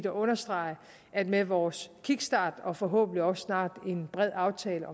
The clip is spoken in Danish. understrege at med vores kickstart og forhåbentlig også snart en bred aftale